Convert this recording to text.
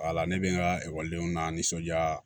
Wala ne bɛ n ka ekɔlidenw n'an nisɔndiya